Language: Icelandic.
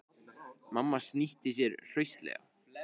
Mamma snýtti sér hraustlega.